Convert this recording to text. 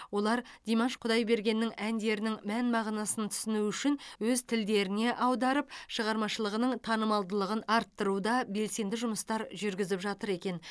олар димаш құдайбергеннің әндерінің мән мағынасын түсіну үшін өз тілдеріне аударып шығармашылығының танымалдығын арттыруда белсенді жұмыстар жүргізіп жатыр екен